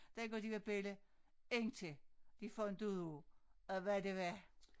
Dengang de var bella indtil de fandt ud af at hvad det var